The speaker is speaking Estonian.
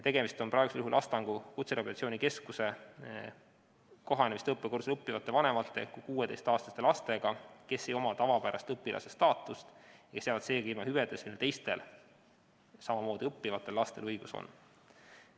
Tegemist on praegusel juhul Astangu Kutserehabilitatsiooni Keskuse kohanemis- ja tööõppekursustel õppivate vanemate kuni 16-aastaste lastega, kes ei oma tavapärast õpilase staatust ja jäävad seega ilma hüvedest, millele teistel samamoodi õppivatel lastel õigus on.